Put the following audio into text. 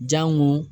Jango